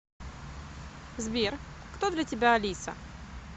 сбер кто для тебя алиса